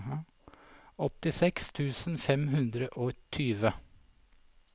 åttiseks tusen fem hundre og tjue